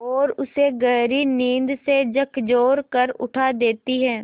और उसे गहरी नींद से झकझोर कर उठा देती हैं